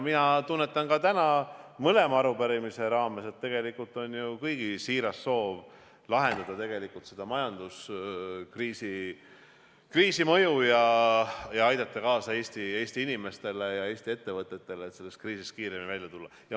Mina tunnetan ka täna mõlema arupärimise raames, et tegelikult on ju kõigi siiras soov vähendada majanduskriisi mõju ja aidata Eesti inimestel ja Eesti ettevõtetel sellest kriisist kiiremini välja tulla.